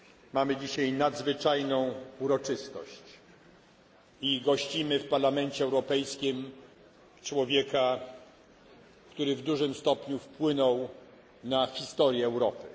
Mamy dzisiaj nadzwyczajną uroczystość i gościmy w Parlamencie Europejskim człowieka, który w dużym stopniu wpłynął na historię Europy.